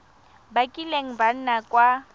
ba kileng ba nna kwa